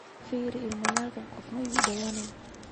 firi iimaylka qofka oo dhawaan